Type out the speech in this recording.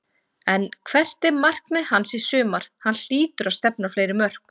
En hvert er markmið hans í sumar, hann hlýtur að stefna á fleiri mörk?